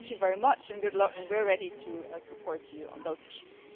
Thank you very much and good luck and we're ready to support you on those issues.